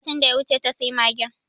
A satin da ya wuce ta sayi magen